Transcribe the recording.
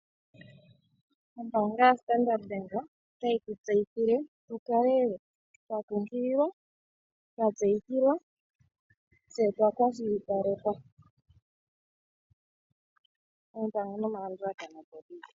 Ombaanga yaStandard Bank otayi tutseyithile tukale twa kunkililwa, twatseyithilwa tse twa kwashilipalekwa. Oompango nomalandulatha opo dhili.